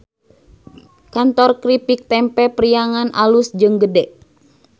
Kantor Kripik Tempe Priangan alus jeung gede